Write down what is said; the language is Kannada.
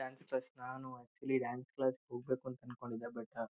ಡಾನ್ಸ್ ಕ್ಲಾಸ್ ನಾನು ಅಕ್ಚುಲಿ ಡಾನ್ಸ್ ಕ್ಲಾಸ್ ಗೆ ಹೋಗ್ಬೇಕು ಅನ್ಕೊಂಡು ಇದ್ದೆ ಬಟ್ --